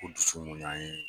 Ko dusu mun y'an ye